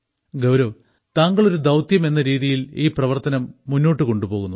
ഗൌരവ് താങ്കൾ ഒരു ദൌത്യം എന്ന രീതിയിൽ ഈ പ്രവർത്തനം മുന്നോട്ട് കൊണ്ടുപോകുന്നു